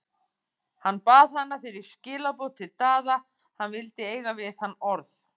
Hann bað hana fyrir skilaboð til Daða, hann vildi eiga við hann orð.